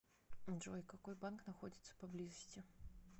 джой какой банк находится поблизости